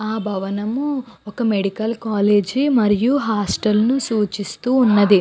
ఆ భవనము ఒక మెడికల్ కాలేజీ మరియు హాస్టల్ ను సూచిస్తూ ఉన్నది.